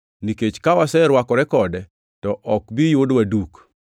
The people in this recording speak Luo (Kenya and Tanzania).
nikech ka waserwakore kode, to ok bi yudwa duk.